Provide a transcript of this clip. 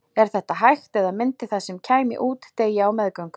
er þetta hægt eða myndi það sem kæmi út deyja á meðgöngu